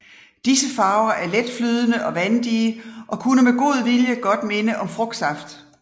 Disse farver er letflydende og vandige og kunne med god vilje godt minde om frugtsaft